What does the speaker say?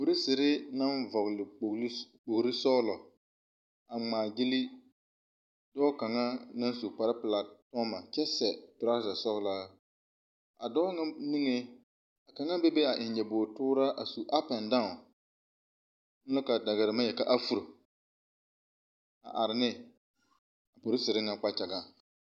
Polisiri naŋ vɔgele kpogele sɔgelɔ a ŋmaa gyole dɔɔ kaŋa naŋ su kpar pelaa a zeŋ a kyɛ seɛ toraza sɔgelaa a dɔɔ naŋ niŋeŋ a kaŋa be be a eŋ nyɔboo tooraa a su apɛdaa on a la kaa dagara naŋ yeli ka afuro a are ne polisiri ŋa kpagyaŋaŋ